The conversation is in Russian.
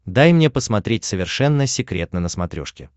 дай мне посмотреть совершенно секретно на смотрешке